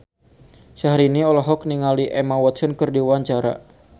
Syahrini olohok ningali Emma Watson keur diwawancara